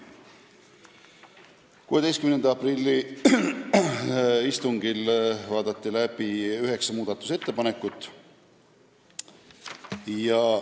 16. aprilli istungil vaadati läbi üheksa muudatusettepanekut.